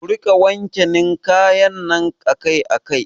Ku rika wanke ninkayan nan akai akai